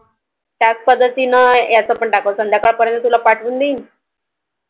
त्याच पद्धतीने याच पण टाकायच संध्याकाळ पर्यंत तूला पाठवूं देईल,